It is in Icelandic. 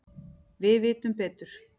Við vitum betur